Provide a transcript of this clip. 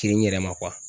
Kere n yɛrɛ ma